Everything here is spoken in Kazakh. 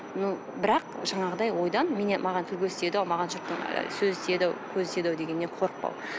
но бірақ жаңағыдай ойдан маған тіл көз тиеді ау маған жұрттың сөзі тиеді ау көзі тиеді ау дегеннен қорықпау